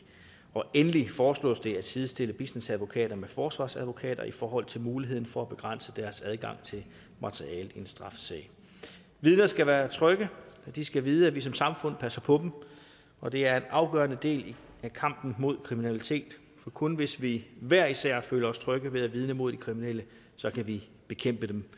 og endelig foreslås det at sidestille bistandsadvokater med forsvarsadvokater i forhold til muligheden for at begrænse deres adgang til materiale i en straffesag vidner skal være trygge de skal vide at vi som samfund passer på dem og det er en afgørende del af kampen mod kriminalitet for kun hvis vi hver især føler os trygge ved at vidne mod de kriminelle kan vi bekæmpe dem